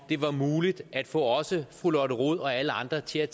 det var muligt at få også fru lotte rod og alle andre til at